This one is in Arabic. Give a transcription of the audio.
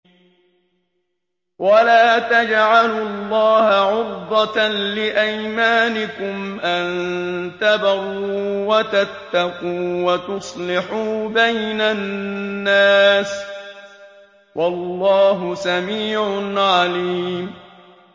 وَلَا تَجْعَلُوا اللَّهَ عُرْضَةً لِّأَيْمَانِكُمْ أَن تَبَرُّوا وَتَتَّقُوا وَتُصْلِحُوا بَيْنَ النَّاسِ ۗ وَاللَّهُ سَمِيعٌ عَلِيمٌ